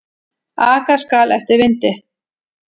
Aka skal eftir vindi.